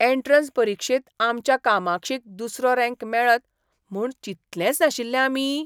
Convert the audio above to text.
Entrance परिक्षेंत आमच्या कामाक्षीक दुसरो रँक मेळत म्हूण चितलेंच नाशिल्लें आमी?